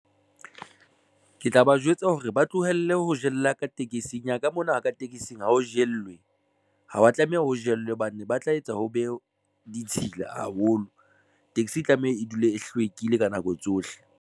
Ke tla ba jwetsa hore ba tlohelle ho jella ka tekesing ya ka mona ka tekesing ha o jellwe ha wa tlameha ho jelwe hobane ba tla etsa ho be ditshila haholo. Taxi e tlameha e dule e hlwekile ka nako tsohle.